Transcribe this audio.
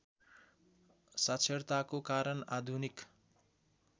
साक्षरताको कारण आधुनिक